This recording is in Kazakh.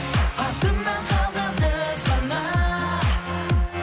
артымнан қалған із ғана